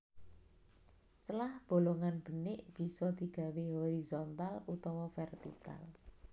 Celah bolongan benik bisa digawé horizontal utawa vertikal